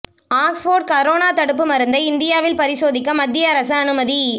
Oxford corona தடுப்பு மருந்தை இந்தியாவில் பரிசோதிக்க மத்திய அரசு அனுமதி